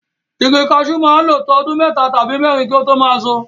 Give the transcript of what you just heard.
Igi kaṣú máa ń lo to ọdún mẹ́ta tàbí mẹ́rin kí ó tó máa ṣọ.